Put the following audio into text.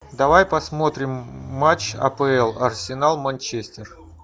давай посмотрим матч апл арсенал манчестер